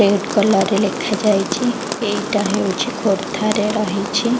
Red colour ରେ ଲେଖା ଯାଇଛି ଏଇଟା ହେଉଛି ଖୋର୍ଦ୍ଧାରେ ରହିଛି।